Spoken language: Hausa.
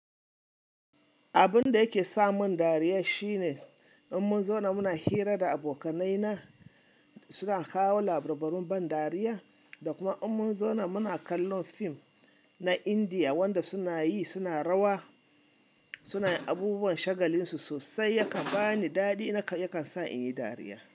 Abun da yake sa mun dariya shine in mun zauna muna hira da abokanai na suna kawo labarai na ban dariya da kuma in mun zauna muna kallon fim na Indiya wanda suna yi suna rawa suna yin abubuwan shagalin su sosai yakan bani daɗi yakan sa in yi dariya.